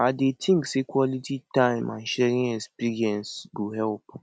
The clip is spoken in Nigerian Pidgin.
i dey think say quality time and sharing experiences go help